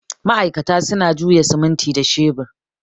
ma'aikata suna jiya simuti da shebur